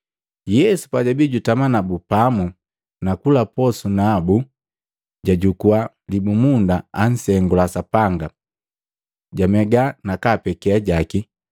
Yesu pajabii jutami nabu pamu na kula nabu posu, jajukua libumunda, ansengula Sapanga, jamega na kapeke ajaki.